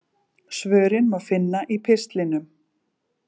Svörin má finna í pistlinum.